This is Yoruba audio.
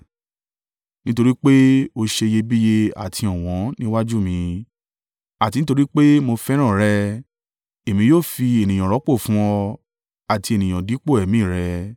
Nítorí pé o ṣe iyebíye àti ọ̀wọ́n níwájú mi, àti nítorí pé mo fẹ́ràn rẹ, Èmi yóò fi ènìyàn rọ́pò fún ọ, àti ènìyàn dípò ẹ̀mí rẹ.